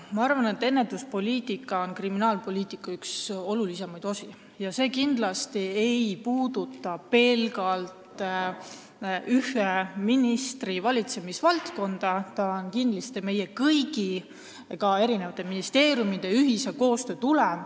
Ma arvan, et ennetuspoliitika on kriminaalpoliitika üks olulisemaid osi ja see ei puuduta kindlasti pelgalt ühe ministri valitsemisvaldkonda, see on meie kõigi, ka eri ministeeriumide koostöö tulem.